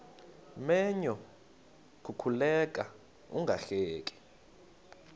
menyo kukuleka ungahleki